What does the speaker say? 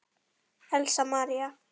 Elsa María.